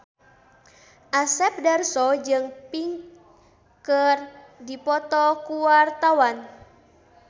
Asep Darso jeung Pink keur dipoto ku wartawan